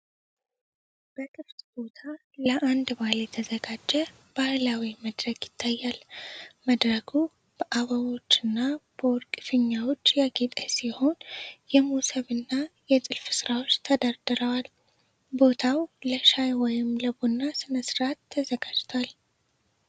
በ ክፍት ቦታ ለአንድ በዓል የተዘጋጀ ባህላዊ መድረክ ይታያል። መድረኩ በ አበቦች እና በወርቅ ፊኛዎች ያጌጠ ሲሆን፣ የመሶብ እና የጥልፍ ሥራዎች ተደርድረዋል። ቦታው ለሻይ ወይም ለቡና ሥነ-ሥርዓት ተዘጋጅቷል።